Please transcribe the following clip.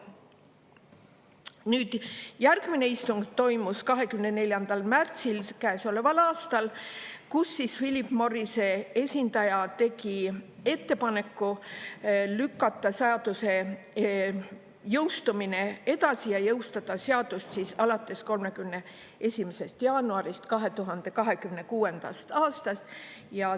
Nüüd, järgmine istung toimus 24. märtsil käesoleval aastal, kus Philip Morrise esindaja tegi ettepaneku lükata seaduse jõustumine edasi ja jõustada seadus alates 31. jaanuarist 2026. aastast.